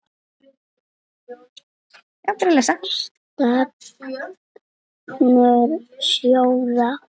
Stefnur sjóða